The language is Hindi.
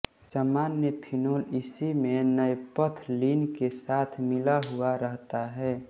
सामान्य फिनोल इसी में नैपथलीन के साथ मिला हुआ रहता है